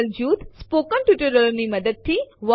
આ અમુક આદેશો હતા જે આપણને ફાઈલો સાથે કામ કરવા માટે મદદ કરે છે